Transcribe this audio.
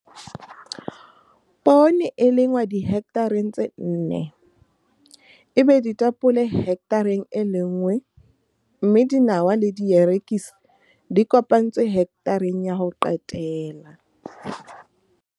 Poone e lengwa dihekthareng tse nne, ebe ditapole hekthareng e lenngwe mme dinawa le dierekisi di kopantswe hekthareng ya ho qetela.